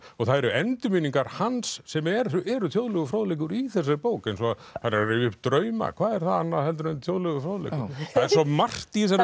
og það eru endurminningar hans sem eru eru þjóðlegur fróðleikur í þessari bók eins og hann er að rifja upp drauma hvað er það annað en þjóðlegur fróðleikur það er svo margt í þessari